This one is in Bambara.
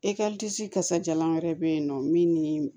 kasajalan wɛrɛ be yen nɔ min ni